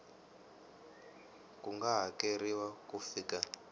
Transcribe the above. ku nga hakeriwa ku fika